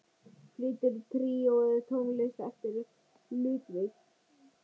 Flytur tríóið tónlist eftir Ludvig.